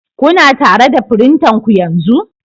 Kuna tare da firintanku yanzu?